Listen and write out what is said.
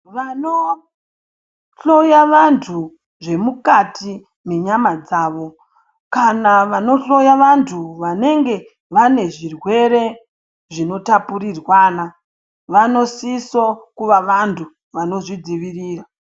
Vanohloya vantu zvemukati menyama dzavo kana vanohloya vantu vanenge vane zvirwere zvinotapurirwana vanosiso kuva vantu vano zvidzivirira.